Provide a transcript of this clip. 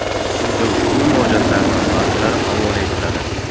Quyida ushbu murojaatlardan ba’zilari havola etiladi.